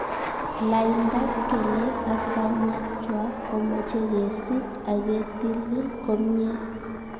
Laindap kelek ak panyek chwak komeche kesit aketilil komnye